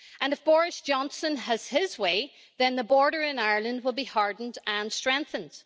If Boris Johnson has his way then the border in Ireland will be hardened and strengthened.